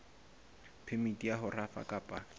phemiti ya ho rafa kapa